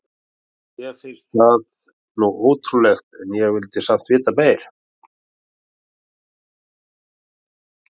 Mér fannst það nú ótrúlegt en ég vildi samt vita meira.